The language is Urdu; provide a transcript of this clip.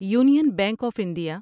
union bank of India